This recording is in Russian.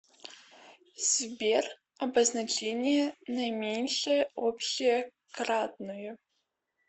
сбер обозначение наименьшее общее кратное